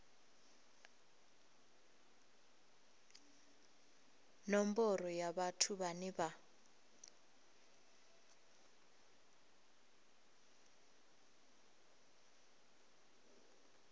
nomboro ya vhathu vhane vha